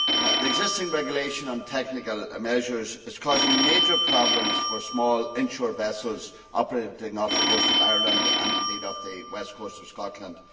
The existing regulation on technical measures is causing major problems for small inshore vessels operating off the coast of Ireland and, indeed, off the west coast of Scotland.